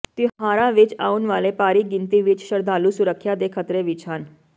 ਤਿਉਹਾਰਾਂ ਵਿਚ ਆਉਣ ਵਾਲੇ ਭਾਰੀ ਗਿਣਤੀ ਵਿਚ ਸ਼ਰਧਾਲੂ ਸੁਰੱਖਿਆ ਦੇ ਖ਼ਤਰੇ ਵਿਚ ਹਨ